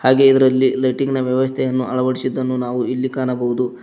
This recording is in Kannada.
ಹಾಗೆ ಇದ್ರಲ್ಲಿ ಲೈಟಿಂಗ್ ನ ವ್ಯವಸ್ಥೆಯನ್ನು ಅಳವಡಿಸಿದ್ದನ್ನು ನಾವು ಇಲ್ಲಿ ಕಾಣಬಹುದು.